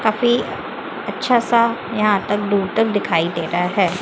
काफी अच्छा सा यहां तक दूर तक दिखाई दे रहा है।